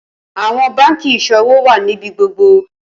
Awọn banki iṣowo wá níbi gbogbo